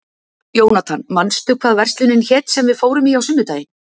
Jónatan, manstu hvað verslunin hét sem við fórum í á sunnudaginn?